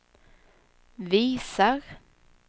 visar